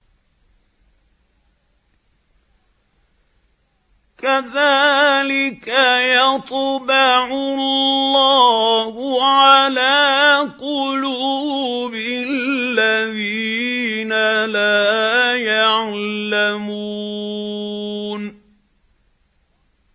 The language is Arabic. كَذَٰلِكَ يَطْبَعُ اللَّهُ عَلَىٰ قُلُوبِ الَّذِينَ لَا يَعْلَمُونَ